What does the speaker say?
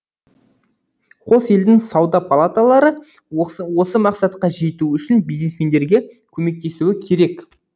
қос елдің сауда палаталары осы мақсатқа жету үшін бизнесмендерге көмектесуі керек